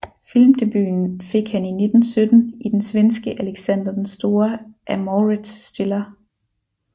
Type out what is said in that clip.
Filmdebuten fik han i 1917 i den svenske Alexander den Store af Mauritz Stiller